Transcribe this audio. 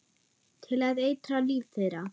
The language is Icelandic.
Til að eitra líf þeirra.